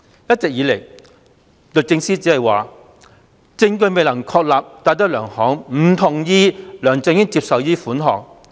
一直以來，律政司只表示，證據未能確立戴德梁行不同意梁振英接受這筆款項。